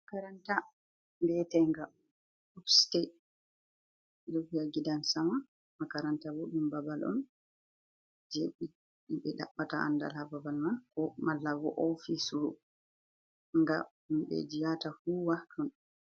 Makaranta be je nga oste, ɓe ɗon viya gidan Sama. Makaranta bo ɗum babal on je ɓe ɗabɓata andal ha Babal man, ko malla bo ofis nga ɗum himɓeji yahata huwa ton.